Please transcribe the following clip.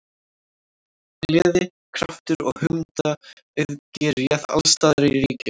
Gleði, kraftur og hugmyndaauðgi réð alls staðar ríkjum.